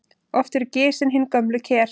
Oft eru gisin hin gömlu ker.